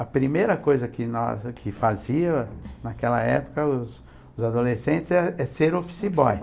A primeira coisa que na que fazia naquela época os os adolescentes é ser office boy.